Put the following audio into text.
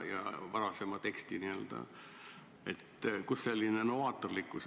Kust selline novaatorlikkus?